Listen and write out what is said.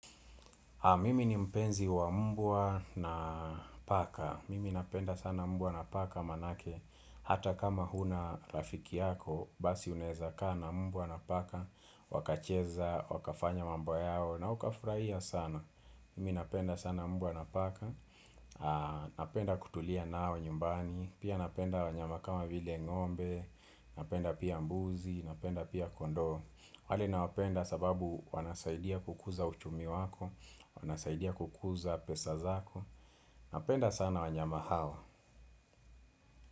Mimi ni mpenzi wa mbwa na paka. Mimi napenda sana mbwa na paka maanake. Hata kama huna rafiki yako, basi unaeza kaa na mbwa na paka, wakacheza, wakafanya mambo yao na ukafurahia sana. Mimi napenda sana mbwa na paka. Napenda kutulia nao nyumbani Pia napenda wanyama kama vile ngombe Napenda pia mbuzi Napenda pia kondoo wale napenda sababu wanasaidia kukuza uchumi wako Wanasaidia kukuza pesa zako Napenda sana wanyama hawa.